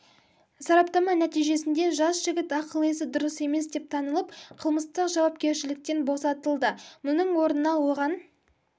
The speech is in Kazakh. сараптама нәтижесінде жас жігіт ақыл-есі дұрыс емес деп танылып қылмыстық жауапкершіліктен босатылды мұның орнына оған